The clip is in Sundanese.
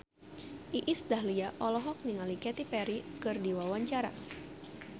Iis Dahlia olohok ningali Katy Perry keur diwawancara